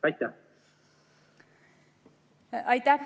Aitäh!